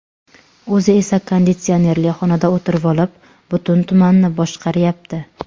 O‘zi esa konditsionerli xonada o‘tirvolib, butun tumanni boshqaryapti.